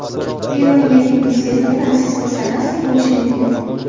Peruning yangi prezidenti Fransisko Sagasti bo‘lishi mumkin.